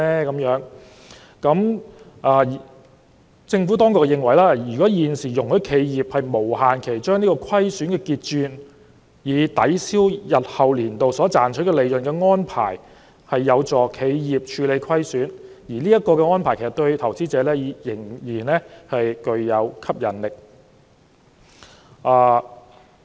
就此，政府當局認為，現時容許企業無限期把虧損結轉，以抵銷日後年度所賺取利潤的安排有助企業處理虧損，而這項安排對投資者仍然具有吸引力。